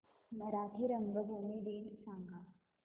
मराठी रंगभूमी दिन सांगा